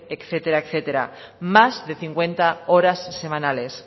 etcétera etcétera más de cincuenta horas semanales